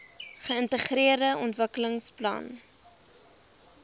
geintegreerde ontwikkelingsplan idp